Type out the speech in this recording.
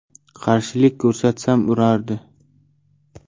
Qarshilik ko‘rsatsam urardi.